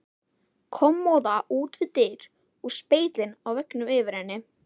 Kommóða út við dyr og spegillinn á veggnum yfir henni.